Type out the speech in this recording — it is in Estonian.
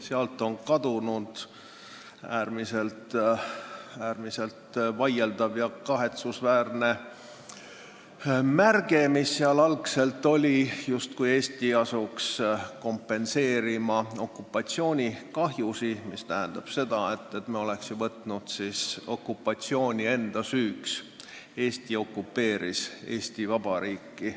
Sealt on kadunud äärmiselt vaieldav ja kahetsusväärne märge, justkui Eesti asuks kompenseerima okupatsioonikahju, mis tähendanuks seda, et me oleks okupatsiooni enda süüks võtnud – Eesti okupeeris Eesti Vabariiki.